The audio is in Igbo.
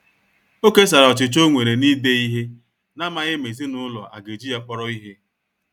O kesara ọchịchọ ọ nwere na-ide ihe, namaghi ma ezinụlọ a ga-eji ya kpọrọ ihe.